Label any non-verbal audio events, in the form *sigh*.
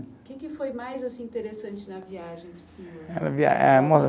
Que que foi mais assim interessante na viagem para o senhor? *unintelligible*